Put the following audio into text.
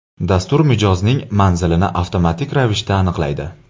Dastur mijozning manzilini avtomatik ravishda aniqlaydi.